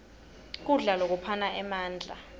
kudla lokuphana emandla